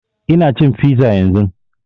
Ina cin fiza yanzun